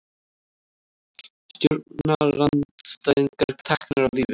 Stjórnarandstæðingar teknir af lífi